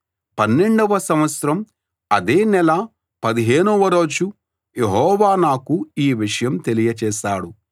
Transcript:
పన్నెండవ సంవత్సరం అదే నెల పదిహేనవ రోజు యెహోవా నాకు ఈ విషయం తెలియచేశాడు